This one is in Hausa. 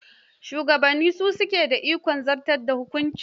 Shugabanni su suke da ikon zartar da hukunci.